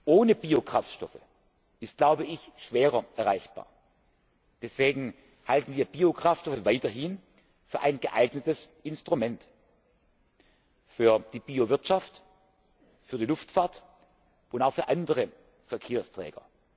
ohne Biokraftstoffe ist, glaube ich, schwerer erreichbar, deshalb halten wir Biokraftstoffe weiterhin für ein geeignetes Instrument für die Bio Wirtschaft, für die Luftfahrt und auch für andere Verkehrsträger.